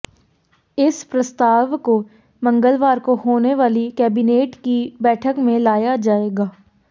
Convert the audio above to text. इस प्रस्ताव को मंगलवार को होने वाली कैबिनेट की बैठक में लाया जाएगा